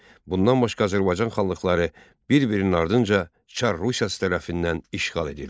Bundan başqa Azərbaycan xanlıqları bir-birinin ardınca çar Rusiyası tərəfindən işğal edildi.